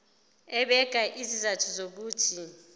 ebeka izizathu zokuthi